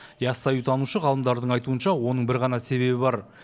ясауитанушы ғалымдардың айтуынша оның бір ғана себебі бар